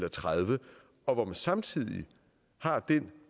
og tredive og hvor man samtidig har den